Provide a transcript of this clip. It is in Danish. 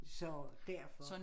Så derfor